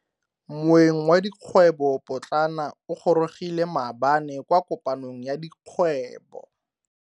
Moeng wa dikgwebo potlana o gorogile maabane kwa kopanong ya dikgwebo.